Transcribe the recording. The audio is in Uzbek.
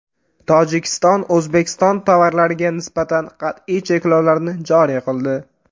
Tojikiston O‘zbekiston tovarlariga nisbatan qat’iy cheklovlarni joriy qildi.